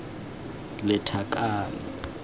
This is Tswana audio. lethakane